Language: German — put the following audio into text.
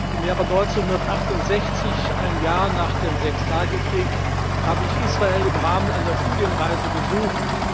Im Jahr 1968, ein Jahr nach dem Sechstagekrieg, habe ich Israel im Rahmen einer Studienreise besucht.